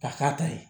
Ka k'a ta ye